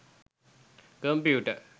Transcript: computer